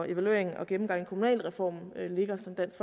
evalueringen og gennemgangen af kommunalreformen ligger som dansk